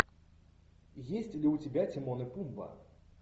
есть ли у тебя тимон и пумба